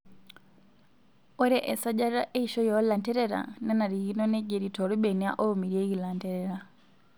Ore esajata eishioi oolanterera nenarikino neigeri toorbenia oomirieki lanterera.